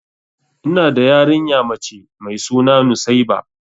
Ina da yarinya mace mai suna nusaiba.